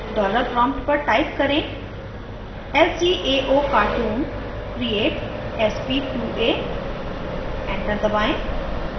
dollar prompt पर type करें lcaocartoon create sp2a enter दबाएं